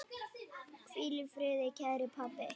Hvíl í friði, kæri pabbi.